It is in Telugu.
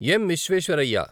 ఎమ్. విశ్వేశ్వరయ్య